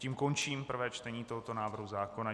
Tím končím prvé čtení tohoto návrhu zákona.